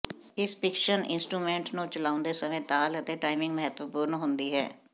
ਇਸ percussion instrument ਨੂੰ ਚਲਾਉਂਦੇ ਸਮੇਂ ਤਾਲ ਅਤੇ ਟਾਈਮਿੰਗ ਮਹੱਤਵਪੂਰਨ ਹੁੰਦੀ ਹੈ